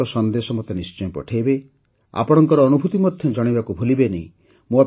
ଆପଣଙ୍କ ସନ୍ଦେଶ ମୋତେ ନିଶ୍ଚୟ ପଠାଇବେ ଆପଣଙ୍କର ଅନୁଭୂତି ମଧ୍ୟ ଜଣେଇବାକୁ ଭୁଲିବେନି